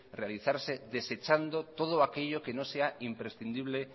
realizarse desechando todo aquello que no sea imprescindible